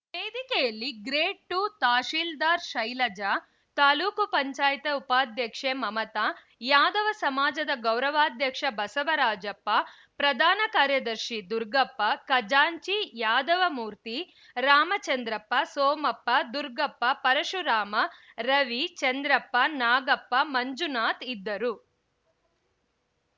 ವೇದಿಕೆಯಲ್ಲಿ grade two tahsildar Shailaja taluk panchayat ಉಪಾಧ್ಯಕ್ಷೆ ಮಮತಾ ಯಾದವ ಸಮಾಜದ ಗೌರವಾಧ್ಯಕ್ಷ ಬಸವರಾಜಪ್ಪ ಪ್ರಧಾನ ಕಾರ್ಯದರ್ಶಿ ದುರ್ಗಪ್ಪ ಖಜಾಂಚಿ ಯಾದವಮೂರ್ತಿ ರಾಮಚಂದ್ರಪ್ಪ ಸೋಮಪ್ಪ ದುರ್ಗಪ್ಪ ಪರಶುರಾಮ ರವಿ ಚಂದ್ರಪ್ಪ ನಾಗಪ್ಪ ಮಂಜುನಾತ್ ಇದ್ದರು